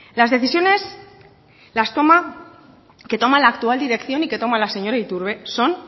las decisiones que toma la actual dirección y que toma la señora iturbe son